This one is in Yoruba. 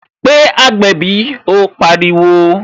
Pé agbẹ̀bí " ó pariwo